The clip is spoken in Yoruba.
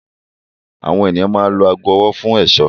Àwọn ènìyàn máa ń lo aago ọwọ́ fún ẹ̀ṣọ́.